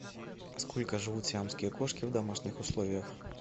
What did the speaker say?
сколько живут сиамские кошки в домашних условиях